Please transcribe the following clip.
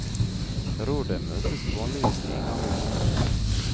Rådet møtes vanligvis en gang i måneden.